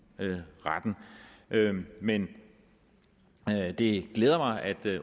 retten men det glæder mig at